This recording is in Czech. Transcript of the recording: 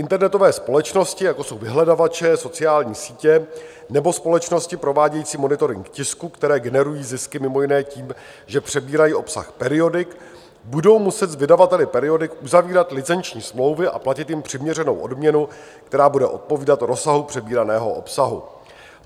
Internetové společnosti, jako jsou vyhledávače, sociální sítě nebo společnosti provádějící monitoring tisku, které generují zisky mimo jiné tím, že přebírají obsah periodik, budou muset s vydavateli periodik uzavírat licenční smlouvy a platit jim přiměřenou odměnu, která bude odpovídat rozsahu přebíraného obsahu.